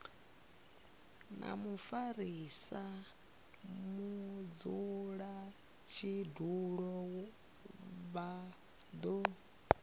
na mufarisa mudzulatshidulo vha do